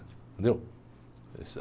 Entendeu?